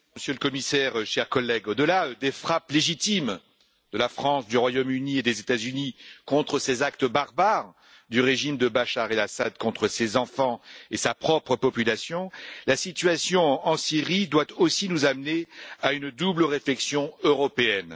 Monsieur le Président, Monsieur le Commissaire, chers collègues, au delà des frappes légitimes de la France, du Royaume Uni et des États Unis contre ces actes barbares du régime de Bachar Al Assad à l'encontre de ses enfants et de sa propre population, la situation en Syrie doit aussi nous amener à une double réflexion européenne.